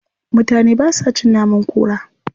Mutane ba sa a cin naman kura.